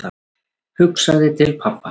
Hugsaði til pabba.